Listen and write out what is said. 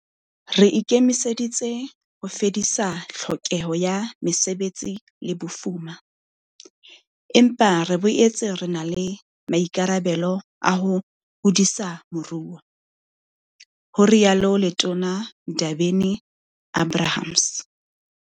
Re ikemiseditse ho fedisa tlhokeho ya mesebetsi le bofuma, empa re boetse re na le maikarabelo a ho hodisa moruo, ho rialo Letona Ndabeni-Abrahams.